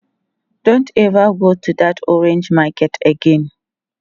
Don't ever go to that orange market again!